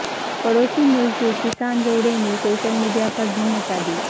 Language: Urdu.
پڑوسی ملک کے کسان جوڑے نے سوشل میڈیاپردھوم مچادی